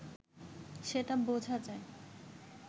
সেটা বোঝা যায়